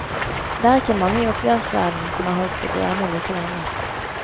Det er ikke mange i oppgjørsverdenen som har holdt det gående like lenge.